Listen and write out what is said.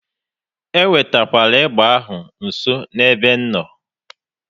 E wetekwala egbe ahụ nso n'ebe m nọ!